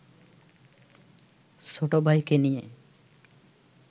ছোট ভাইকে নিয়ে